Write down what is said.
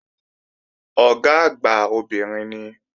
Ọ̀gá àgbà obìnrin ni